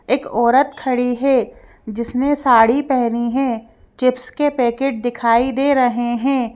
एक औरत खड़ी है जिसने साड़ी पहनी है चिप्स के पैकेट दिखाई दे रहे हैं।